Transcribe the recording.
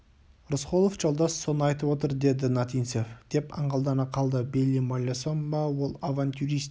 рысқұлов жолдас соны айтып отыр деді нотинцев деп аңғалдана қалды бейли маллесон ба ол авантюрист